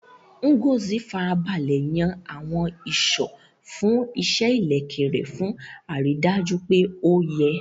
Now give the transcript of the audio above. Ngozi Farabalẹ̀ yan àwọn ìṣó fún iṣẹ́ ìlẹ̀kẹ̀ rẹ̀ fún àrídájú pé ó yẹ.